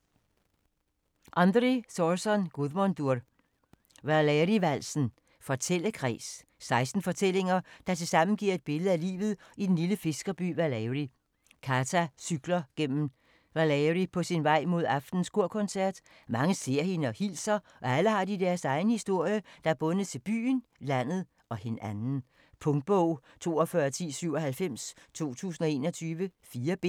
Guðmundur Andri Thorsson: Valeyri-valsen: fortællekreds 16 fortællinger, der tilsammen giver et billede af livet i den lille fiskerby Valeyri. Kata cykler gennem Valeyri på sin vej mod aftenens kor-koncert. Mange ser hende og hilser og alle har de deres egen historie, der er bundet til byen, landet - og hinanden. Punktbog 421097 2021. 4 bind.